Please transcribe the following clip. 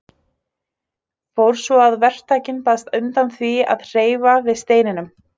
Fór svo að verktakinn baðst undan því að hreyfa við steininum.